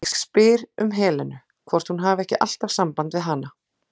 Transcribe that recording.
Ég spyr um Helenu, hvort hún hafi ekki alltaf samband við hana?